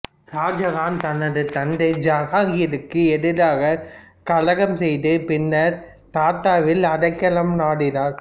ஷாஜகான் தனது தந்தை ஜகாங்கீருக்கு எதிராக கலகம் செய்த பின்னர் தத்தாவில் அடைக்காலம் நாடினார்